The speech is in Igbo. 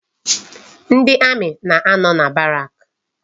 Ndị amị na-anọ na barak.